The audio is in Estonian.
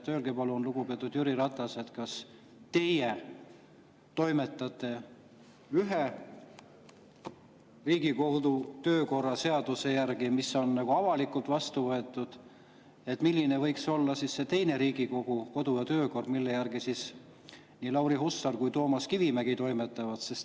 Öelge, palun, lugupeetud Jüri Ratas, kui teie toimetate ühe Riigikogu kodu‑ ja töökorra seaduse järgi, mis on avalikult vastu võetud, siis milline võiks olla see teine Riigikogu kodu‑ ja töökord, mille järgi nii Lauri Hussar kui ka Toomas Kivimägi toimetavad.